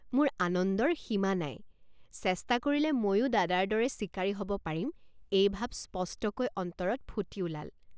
মোৰ আনন্দৰ সীমা নাই চেষ্টা কৰিলে ময়ো দাদাৰ দৰে চিকাৰী হ'ব পাৰিম এই ভাব স্পষ্টকৈ অন্তৰত ফুটি ওলাল।